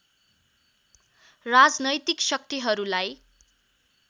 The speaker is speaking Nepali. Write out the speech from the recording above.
राजनैतिक शक्तिहरूलाई